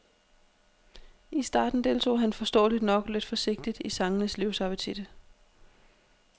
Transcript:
I starten deltog han forståeligt nok lidt forsigtigt i sangenes livsappetit.